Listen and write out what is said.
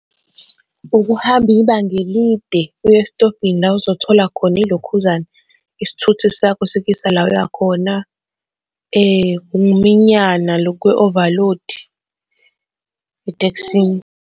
Ukuhamba ibanga elide uye esitobhini la ozothola khona ilokhuzana, isithunzi sakho sikuyisa la oya khona. Ukuminyana loku kwe-overload etekisini.